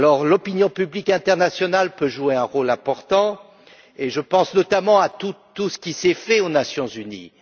L'opinion publique internationale peut jouer un rôle important, et je pense, notamment, à tout ce qui a été fait aux Nations unies.